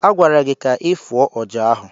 A gwara gị ka ị fụọ ọjà ahụ!